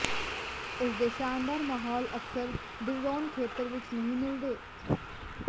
ਇਸਦੇ ਸ਼ਾਨਦਾਰ ਮਾਹੌਲ ਅਕਸਰ ਡੀਰਰੋਨ ਖੇਤਰ ਵਿੱਚ ਨਹੀਂ ਮਿਲਦੇ